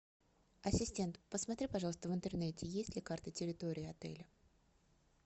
ассистент посмотри пожалуйста в интернете есть ли карта территории отеля